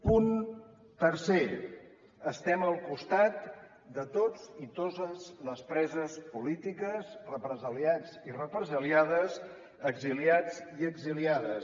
punt tercer estem al costat de tots i totes les preses polítiques represaliats i represaliades exiliats i exiliades